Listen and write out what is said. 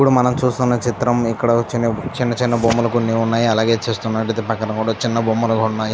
ఇక్కడ మనం చూస్తున్న చిత్రంలో ఇక్కడ చిన్న చిన్న బొమ్మలు కొన్ని ఉన్నాయి అలాగే చూస్తున్నట్లయితే పక్కన కూడా చిన్న బొమ్మలు ఉన్నాయి.